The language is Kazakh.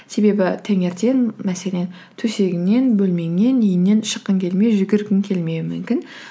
себебі таңертең мәселен төсігіңнен бөлмеңнен үйіңнен шыққың келмей жүгіргің келмеуі мүмкін